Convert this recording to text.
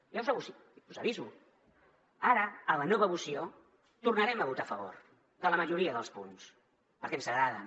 jo us aviso ara a la nova moció tornarem a votar a favor de la majoria dels punts perquè ens agraden